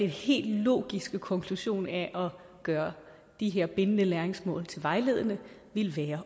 helt logiske konklusion af at gøre de her bindende læringsmål vejledende ville være